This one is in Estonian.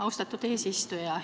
Austatud eesistuja!